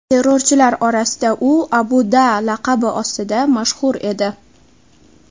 Terrorchilar orasida u Abu Da’ laqabi ostida mashhur edi.